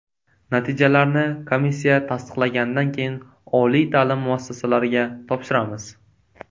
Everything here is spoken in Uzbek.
Natijalarni komissiya tasdiqlaganidan keyin oliy ta’lim muassasalariga topshiramiz.